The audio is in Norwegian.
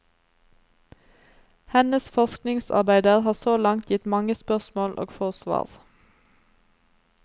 Hennes forskningsarbeider har så langt gitt mange spørsmål og få svar.